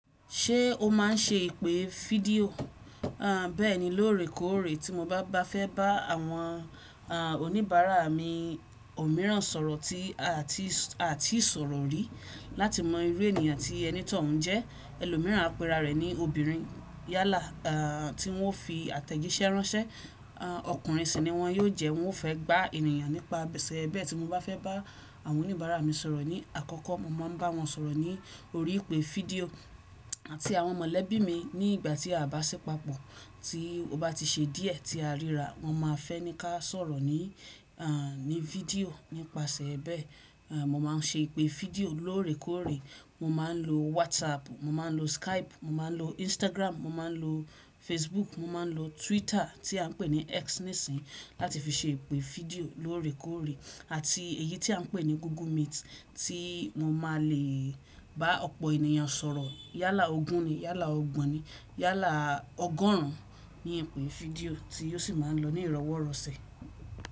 Ṣé o máa ń ṣe ìpè fídíò? Erm Béẹ̀ni, lóòrèkóòrè tí mo bá fẹ́ bá àwọn oníbàárà mi òmíràn sọ̀rọ̀ ti aati àti sọ̀rọ̀ rí láti mọ irú ènìyàn tí ẹni tọ uń jẹ́, ẹlòmíràn àpẹra rẹ̀ ni obìnrin yálà tí wọ́n fi àtẹ̀jíṣẹ́ ránṣẹ́, ọkùnrin sì ni wọ́n yóò jẹ́, wọn ó fẹ́ gbá ènìyàn nípasẹ̀ bẹ́ẹ̀ tí mo bá fẹ́ bá àwọn oníbàárà mi sọ̀rọ̀ ní àkọ́kọ́, mo máa ń bá wọn sọ̀rọ̀ ní orí ìpè fídíò àti àwọn mọ̀lẹ́bí mi ní ìgbà tí a bá ṣí papọ̀ tí ó bá ti ṣe díẹ̀ tí a ríra wọn máa fẹ́ ní ká sọ̀rọ̀ ní fídíò nípasẹ̀ bẹ́ẹ̀. Mo máa ń ṣe ìpè fídíò lóòrèkóòrè, mo máa ń lo WhatsApp, mo máa ń lo Skype, mo máa ń lo Instagram, mo máa ń lo Facebook, mo máa ń lo Twitter tí à ń pè ní X nísìí láti fi ṣe ìpè fídíò lóòrèkóòrè àti èyí tí à ń pè ní Google Meet tí mo máa le bá ọ̀pọ̀ ènìyàn sọ̀rọ̀ yálà ogún ni, yálà ọgbọ̀n ni, yálà ọgọ́rùn ún ní ìpè fídíò tí ó sì máa ń lọ ní ìrọ́wọ́rọ̀sẹ̀.